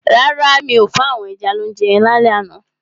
Rárá, mi ò fún àwọn ẹja lounje lálẹ́ àná.